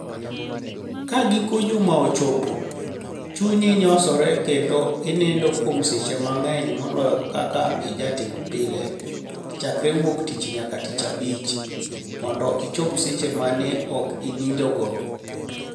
Ka giko juma ochopo, chuniyi niyosore kenido iniinido kuom seche manig'eniy moloyo kaka ijatimo pile, chakre wuok tich niyaka tich abich, monido ichop seche ma ni e ok iniinidigo.